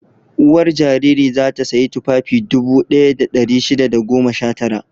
Uwar jariri za ta sayi tufafi dubu ɗaya da ɗari shida da goma sha tara.